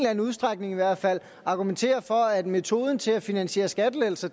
anden udstrækning i hvert fald argumentere for at metoden til at finansiere skattelettelser